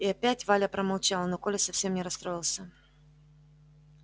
и опять валя промолчала но коля совсем не расстроился